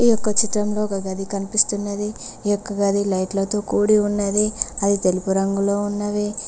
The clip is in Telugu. ఈ ఒక్క చిత్రంలో ఒక గది కనిపిస్తున్నది ఈ యొక్క గది లైట్ల తో కూడి ఉన్నది అది తెలుపు రంగులో ఉన్నవి.